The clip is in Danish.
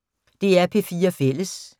DR P4 Fælles